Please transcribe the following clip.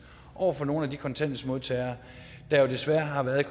over for nogle af de kontanthjælpsmodtagere der desværre har været